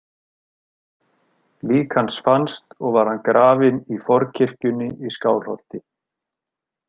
Lík hans fannst og var hann grafinn í forkirkjunni í Skálholti.